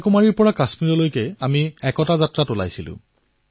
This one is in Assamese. কন্যাকুমাৰীৰ পৰা কাশ্মীৰলৈ আমি একতা যাত্ৰাৰ বাবে ওলাইছিলো